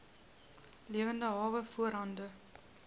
lewende hawe voorhande